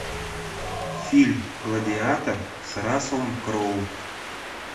фильм гладиатор с расселом кроу